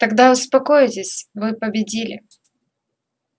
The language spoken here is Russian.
тогда успокоитесь вы победили